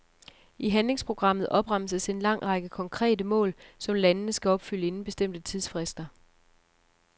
I handlingsprogrammet opremses en lang række konkrete mål, som landene skal opfylde inden bestemte tidsfrister.